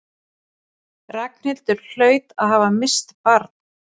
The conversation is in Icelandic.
Ragnhildur hlaut að hafa misst barn.